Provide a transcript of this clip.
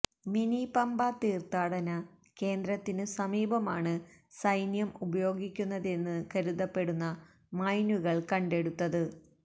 മിനിപമ്പ തീര്ത്ഥാടന കേന്ദ്രത്തിനു സമീപമാണ് സൈന്യം ഉപയോഗിക്കുന്നതെന്ന് കരുതപ്പെടുന്ന മൈനുകള് കണ്ടെടുത്തത്